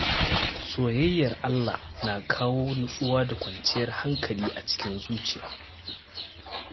Soyayyar Allah na kawo nutsuwa da kwanciyar hankali a zuciya.